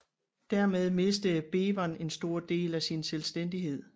Dermed mistede Bevern en stor del af sin selvstændighed